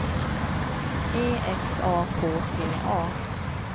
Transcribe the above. E X A K T A